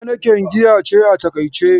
Heineken giya ce a fakaice.